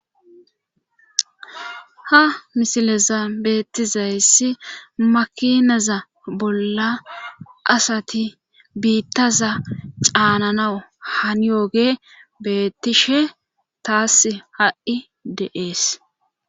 Ha mishileza beettizayssi makinaza bolla asati biittaza caananawu haniyoge beettishe taass ha7i deees.